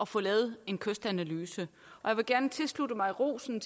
få lavet en kystanalyse og jeg vil gerne tilslutte mig rosen